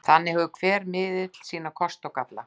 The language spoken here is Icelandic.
Þannig hefur hver miðill bæði sína kosti og galla.